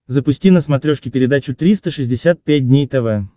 запусти на смотрешке передачу триста шестьдесят пять дней тв